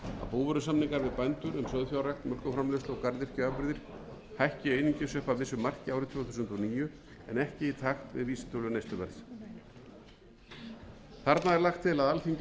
um sauðfjárrækt mjólkurframleiðslu og garðyrkjuafurðir hækki einungis upp að vissu marki árið tvö þúsund og níu en ekki í takt við vísitölu neysluverðs þarna er lagt til að alþingi heimili að gripið verði inn í gerða samninga við bændur og